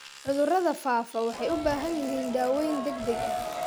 Cudurada faafa waxay u baahan yihiin daaweyn degdeg ah.